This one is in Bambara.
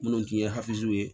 Minnu tun ye ye